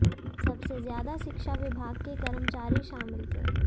सबसे ज्यादा शिक्षा विभाग के कर्मचारी शामिल थे